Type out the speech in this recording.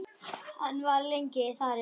Hann var lengi þar inni.